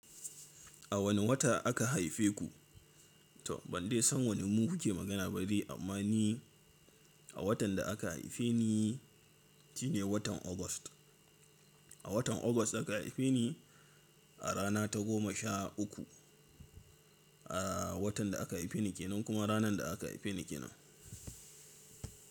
A wane wata aka haife ku? To ban dai san waninmu kuke magana ba dai amma ni a watan da aka haife ni shine watan August. A watan August aka haife ni a rana ta goma sha uku. A watan da aka haife ni kenan kuma ranar da aka haife ni kenan.